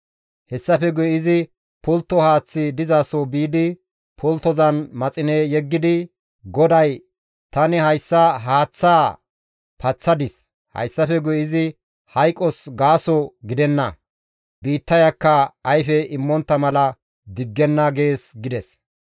Hessafe guye izi pultto haaththi dizaso biidi pulttozan maxine yeggidi, «GODAY, ‹Tani hayssa haaththaa paththadis; hayssafe guye izi hayqos gaaso gidenna; biittayakka ayfe immontta mala diggenna› gees» gides.